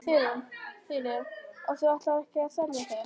Sigríður: Og þú ætlar ekki að selja þau?